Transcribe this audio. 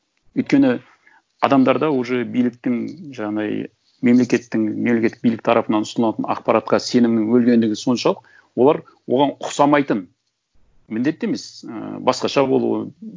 өйткені адамдарда уже биліктің жаңағындай мемлекеттің мемлекеттік билік тарапынан ұсынылатын ақпаратқа сенімнің өлгендігі соншалық олар оған ұқсамайтын міндетті емес ііі басқаша болуы